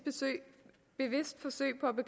forsøg på